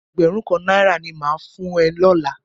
Ẹgbẹrun kan náírà ní mà á fún ẹ lọ́la